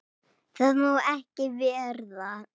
Það má ekki verða.